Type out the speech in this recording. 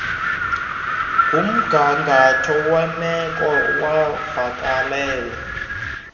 ngumgangatho wemeko yovakalelo